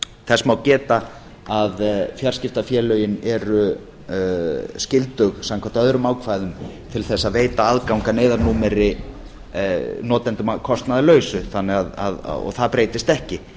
þess má geta að fjarskiptafélögin eru skyldug samkvæmt öðrum ákvæðum til þess að veita aðgang að neyðarnúmeri notendum að kostnaðarlausu og það breytist ekki